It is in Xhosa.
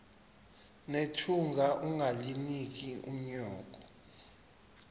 nethunga ungalinik unyoko